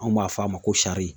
Anw b'a f'a ma ko sari.